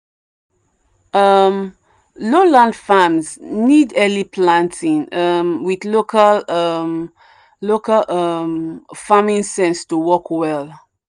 um low land farms need early planting um with local um local um farming sense to work well.